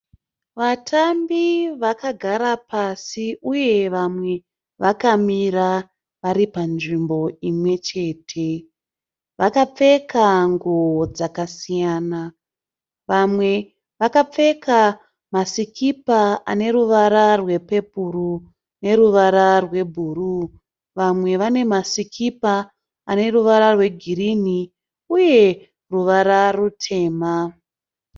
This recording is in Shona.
Vatambi vakagara pasi uye vamwe vakamira vari panzvimbo imwe chete. Vakapfeka nguwo dzakasiyana, vamwe vakapfeka masikipa ane ruvara rwepepuru neruvara rwebhuruu, vamwe vane masikipa ane ruvara rwegirini uye ruvara rutema